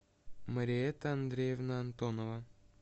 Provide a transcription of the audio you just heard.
мариэтта андреевна антонова